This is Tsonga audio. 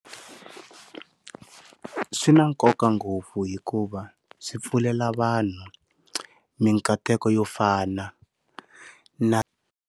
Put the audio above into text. Swi na nkoka ngopfu hikuva swi pfulela vanhu mikateko yo fana na.